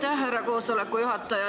Aitäh, härra koosoleku juhataja!